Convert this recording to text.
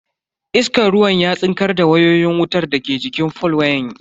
Iskan ruwan ya tsinkar da wayoyin wutar daga jikin fol wayan.